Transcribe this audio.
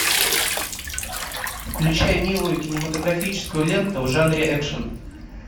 включай милую кинематографическую ленту в жанре экшн